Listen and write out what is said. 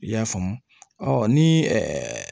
I y'a faamu ɔ ni